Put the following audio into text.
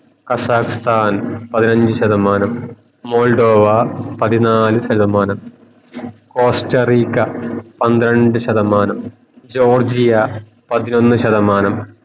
Kazakhstan പതിനഞ്ചു ശതമാനം മാഡ്‌റോവ പതിനാല് ശതമാനം കോസ്റ്ററിക പന്ത്രണ്ട് ശതമാനം ജോർജിയ പതിനൊന്നു ശതമാനം